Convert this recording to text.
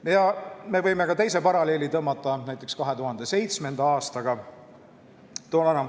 Me võime tõmmata ka teise paralleeli, näiteks 2007. aastal toimunuga.